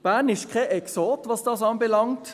Bern ist kein Exot, was das anbelangt.